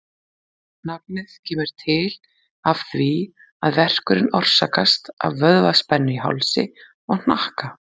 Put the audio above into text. Nafnið kemur til af því að verkurinn orsakast af vöðvaspennu í hálsi og hnakka.